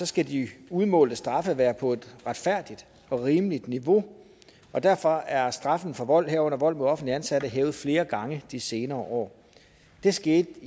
skal de udmålte straffe være på et retfærdigt og rimeligt niveau derfor er straffen for vold herunder vold mod offentligt ansatte hævet flere gange de senere år det skete